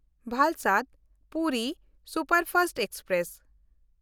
Valsad-Puri superfast express